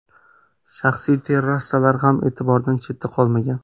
Shaxsiy terrasalar ham e’tibordan chetda qolmagan.